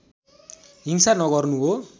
हिंसा नगर्नु हो